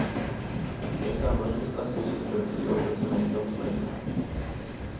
Jeg savner ikke stresset som fulgte jobben som eiendomsmegler.